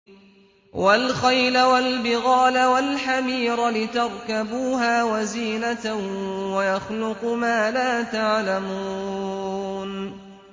وَالْخَيْلَ وَالْبِغَالَ وَالْحَمِيرَ لِتَرْكَبُوهَا وَزِينَةً ۚ وَيَخْلُقُ مَا لَا تَعْلَمُونَ